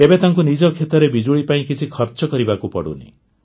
ଏବେ ତାଙ୍କୁ ନିଜ କ୍ଷେତରେ ବିଜୁଳି ପାଇଁ କିଛି ଖର୍ଚ୍ଚ କରିବାକୁ ପଡ଼ୁନି